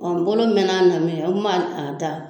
Ɔ bolo mɛna min kɛ n kun b'a da